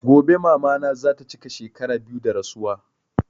Gobe mama na zata chika shekara biyu da rasuwa